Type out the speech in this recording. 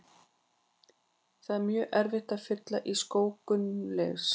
Það er mjög erfitt að fylla í skó Gunnleifs.